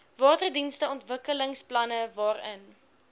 waterdienste ontwikkelingsplanne waarin